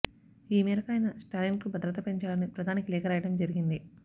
ఈ మేరకు ఆయన స్టాలిన్ కు భద్రత పెంచాలని ప్రధానికి లేఖ రాయడం జరిగింది